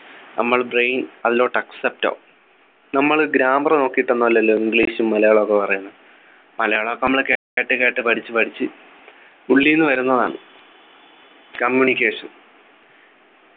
നമ്മൾ brain അതിലോട്ട് accept ആവും നമ്മൾ grammar നോക്കിട്ടൊന്നും അല്ലല്ലോ english ഉം മലയാളവും ഒക്കെ പറയുന്നെ മലയാളം ഒക്കെ നമ്മള് കേട്ടിട്ട് കേട്ട് പഠിച്ചു പഠിച്ചു ഉള്ളിന്ന് വരുന്നതാണ് communication